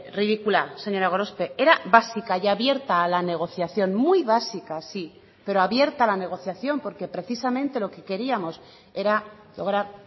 ridícula señora gorospe era básica y abierta a la negociación muy básica sí pero abierta a la negociación porque precisamente lo que queríamos era lograr